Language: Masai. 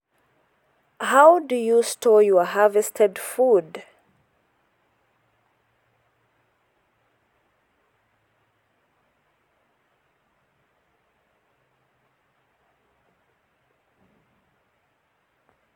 how do you store your harvested food/